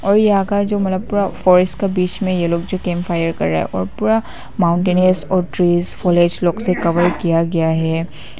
और फॉरेस्ट का बीच में यह लोग जो कैंप फायर कर रहे हैं और पूरा माउंटेंस और ट्रेस फॉलेज लोग से कवर किया गया है।